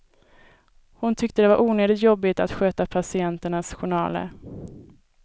Hon tyckte det var onödigt jobbigt att sköta patienternas journaler.